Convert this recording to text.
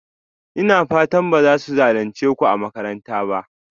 Ina fatan ba za su zalunce ku a makaranta ba?